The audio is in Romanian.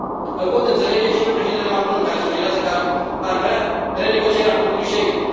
Îl pot înțelege și pe președintele Macron, care sugerează că ar vrea renegocierea acordului Schengen.